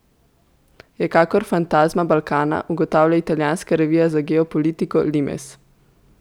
Je kakor fantazma Balkana, ugotavlja italijanska revija za geopolitiko Limes.